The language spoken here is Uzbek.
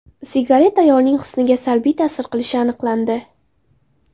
Sigaret ayolning husniga salbiy ta’sir qilishi aniqlandi.